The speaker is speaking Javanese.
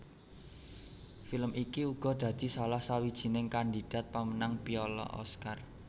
Film iki uga dadi salah sawijining kandidat pamenang piala Oscar